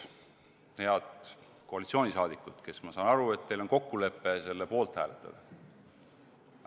Head koalitsioonisaadikud, ma saan aru, et teil on kokkulepe selle eelnõu poolt hääletada.